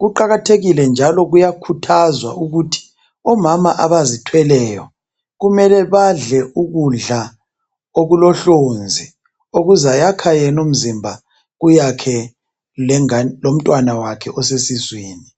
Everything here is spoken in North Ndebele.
Kuqakathekile njalo kuyakhuthazwa ukuthi omama abazithweleyo kumele badle ukudla okulohlonzi okuzayakha yena imzimba, kuyakhe lomntwana wakhe osesiswini